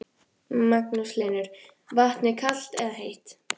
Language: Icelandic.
Magnús Hlynur: Vatnið kalt eða heitt?